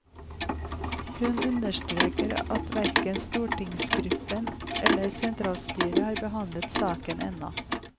Hun understreker at hverken stortingsgruppen eller sentralstyret har behandlet saken ennå.